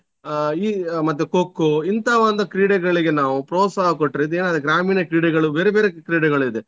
ಅಹ್ ಈ ಮತ್ತೆ Kho Kho ಇಂತ ಒಂದು ಕ್ರೀಡೆಗಳಿಗೆ ನಾವು ಪ್ರೋತ್ಸಾಹ ಕೊಟ್ರೆ ಇದು ಏನಾಗ್ತದೆ ಗ್ರಾಮೀಣ ಕ್ರೀಡೆಗಳು ಬೇರೆ ಬೇರೆ ಕ್ರೀಡೆಗಳಿದೆ.